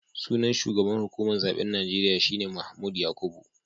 Sunan shugaban hukumar zaben Najeriya shi ne Mahmood Yakubu